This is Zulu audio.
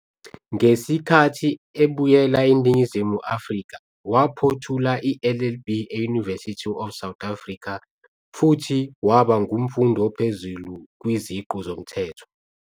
Ngesikhathi ebuyela eNingizimu Afrika waphothula i-LLB e- University of South Africa futhi waba ngumfundi ophezulu kwiziqu zomthetho.